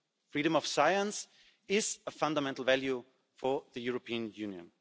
Freedom of science is a fundamental value for the European Union.